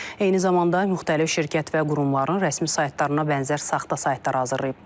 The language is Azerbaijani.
Eyni zamanda müxtəlif şirkət və qurumların rəsmi saytlarına bənzər saxta saytlar hazırlayıb.